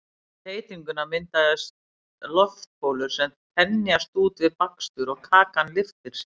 við þeytinguna myndast loftbólur sem þenjast út við bakstur og kakan lyftir sér